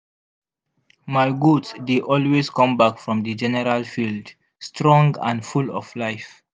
my goat dey always come back from the general field strong and full of life.